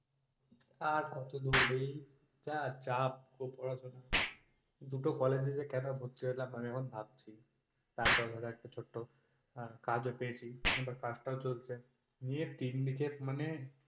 আর কতদূর এই, যা চাপ পড়াশোনার দুটো college এ কেনো ভর্তি হলাম আমি এখন ভাবছি, তারপরও একটা ছোট্ট কাজ ও পেয়েছি কাজটা ও চলছে নিয়ে তিন দিকে মানে